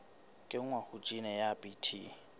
kenngwa ha jine ya bt